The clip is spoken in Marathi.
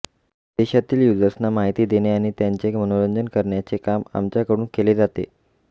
देशातील युजर्सना माहिती देणे आणि त्यांचे मनोरंजन करण्याचे काम आमच्याकडून केले जाते